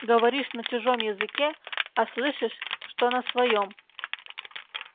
говоришь на чужом языке а слышишь что на своём